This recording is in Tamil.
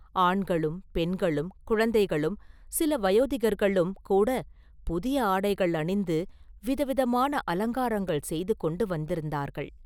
ஆண்களும் பெண்களும் குழந்தைகளும் சில வயோதிகர்களும் கூடப் புதிய ஆடைகள் அணிந்து விதவிதமான அலங்காரங்கள் செய்து கொண்டு வந்திருந்தார்கள்.